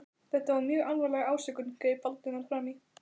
Þetta var mjög alvarleg ásökun- greip Valdimar fram í.